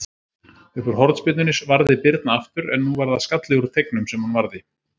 Uppúr hornspyrnunni varði Birna aftur, en nú var það skalli úr teignum sem hún varði.